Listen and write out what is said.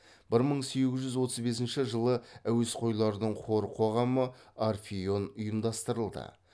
бір мың сегіз жүз отыз бесінші жылы әуесқойлардың хор қоғамы орфеон ұйымдастырылды